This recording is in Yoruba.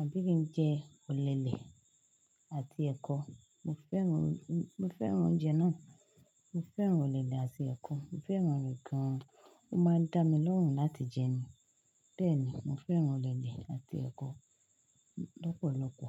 àbí kí n jẹ òlele àti ẹ̀kọ. Mo fẹ́ràn, mo fẹ́ràn oúnjẹ náà. Mo fẹ́ràn òlele àti ẹ̀kọ. Mo fẹ́ràn rẹ̀ gan-an. Ó máa ń dá mi lọ́hùn láti jẹ ẹ́. Bẹ́ẹ̀ ni, mo fẹ́ràn òlele àti ẹ̀kọ lọ́pọ̀lọpọ.